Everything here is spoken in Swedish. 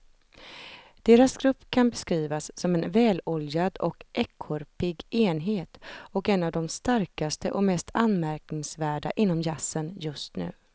Deras grupp kan beskrivas som en väloljad och ekorrpigg enhet och en av de starkaste och mest anmärkningsvärda inom jazzen just nu.